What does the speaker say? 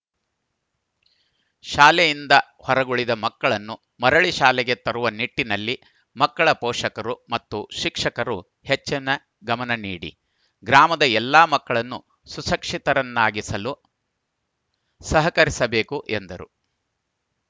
ಶಾಲೆಯಿಂದ ಹೊರಗುಳಿದ ಮಕ್ಕಳನ್ನು ಮರಳಿ ಶಾಲೆಗೆ ತರುವ ನಿಟ್ಟಿನಲ್ಲಿ ಮಕ್ಕಳ ಪೋಷಕರು ಮತ್ತು ಶಿಕ್ಷಕರು ಹೆಚ್ಚಿನ ಗಮನನೀಡಿ ಗ್ರಾಮದ ಎಲ್ಲ ಮಕ್ಕಳನ್ನು ಸುಶಿಕ್ಷಿತರನ್ನಾಗಿಸಲು ಸಹಕರಿಸಬೇಕು ಎಂದರು